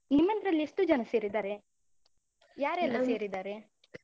ನಿಮ್ಮದ್ರಲ್ಲಿ ಎಷ್ಟು ಜನ ಸೇರಿದ್ದಾರೆ? ಯಾರೆಲ್ಲಾ ಸೇರಿದ್ದಾರೆ?